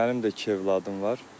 Mənim də iki övladım var.